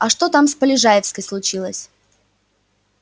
а что там с полежаевской случилось